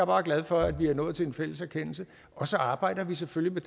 bare glad for at vi er nået til en fælles erkendelse og så arbejder vi selvfølgelig